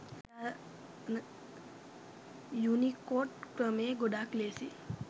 Unicode ක්‍රමය ගොඩාක් ලේසියි.